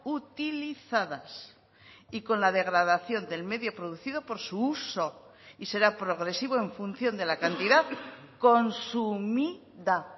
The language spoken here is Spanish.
utilizadas y con la degradación del medio producido por su uso y será progresivo en función de la cantidad consumida